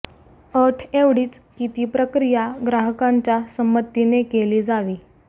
अट एवढीच की ती प्रक्रिया ग्राहकांच्या संमतीने केली जावी